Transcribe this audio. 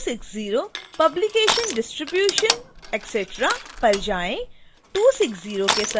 अब 260 publication distribution etc पर जाएँ